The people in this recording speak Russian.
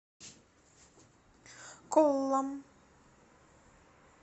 коллам